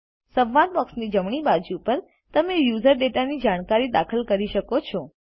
સંવાદ બોક્સની જમણી બાજુ પર તમે યુઝર ડેટાની જાણકારી દાખલ કરી શકો છો